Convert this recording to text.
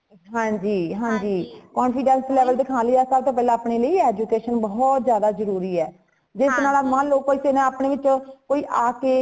ਹਾਂਜੀ ਹਾਂਜੀ confidence level ਦਿਖਾਣ ਲਈ ਆਪਾ ਤਾ ਪਹਿਲੇ ਆਪਣੇ ਲਈ education ਬਹੁਤ ਜਾਂਦਾ ਜਰੂਰੀ ਹੈ ਜਿਸ ਤਰਾਂ ਮਨ ਲੋ ਕੋਈ ਜਨਾ ਆਪਣੇ ਵਿੱਚੋ ਆ ਕੇ